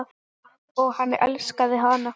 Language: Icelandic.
Og hann elskaði hana.